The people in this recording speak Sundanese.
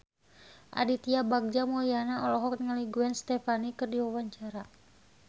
Aditya Bagja Mulyana olohok ningali Gwen Stefani keur diwawancara